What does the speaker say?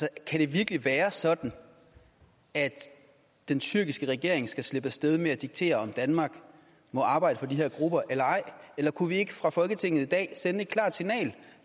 kan det virkelig være sådan at den tyrkiske regering skal slippe af sted med at diktere om danmark må arbejde for de her grupper eller ej eller kunne vi ikke fra folketingets dag sende et klart signal